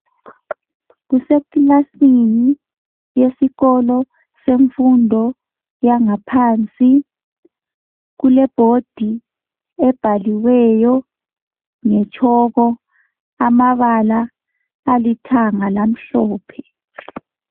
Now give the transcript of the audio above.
Kusekilasini yesikolo semfundo yangaphansi kule"board" ebhaliweyo nge"chalk" amabala alithanga lamhlophe.